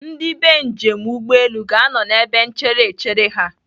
Ndị bee njem ụgbọelu ga-anọ n'ebe nchere echere ha.